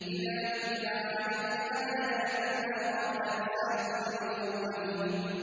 إِذَا تُتْلَىٰ عَلَيْهِ آيَاتُنَا قَالَ أَسَاطِيرُ الْأَوَّلِينَ